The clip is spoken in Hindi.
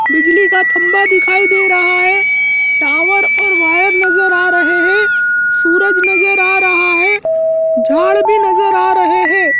बिजली का खंबा दिखाई दे रहा है टावर और वायर नजर आ रहे हैं सूरज नजर आ रहा है झाड़ भी नजर आ रहे हैं।